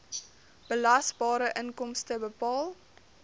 belasbare inkomste bepaal